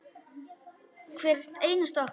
Hvert einasta okkar.